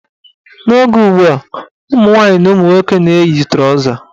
N' oge ugbua, ụmụnwaanyị na ụmụnwoke na-eyi trọza.